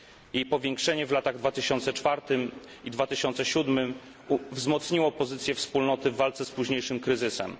Jej powiększenie w latach 2004 i 2007 wzmocniło pozycję Wspólnoty w walce z późniejszym kryzysem.